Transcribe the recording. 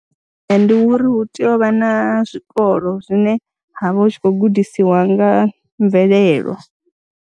Ee, ndi uri hu tea u vha na zwikolo zwine ha vha hu tshi khou gudisiwa nga ha mvelelo.